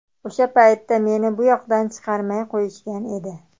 O‘sha paytda meni bu yoqdan chiqarmay qo‘yishgan edi.